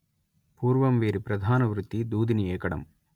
పూర్వం వీరి ప్రధాన వృత్తి దూదిని ఏకడం